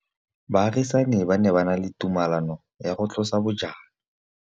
Baagisani ba ne ba na le tumalanô ya go tlosa bojang.